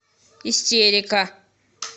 истерика